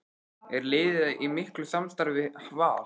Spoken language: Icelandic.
Er liðið í miklu samstarfi við Val?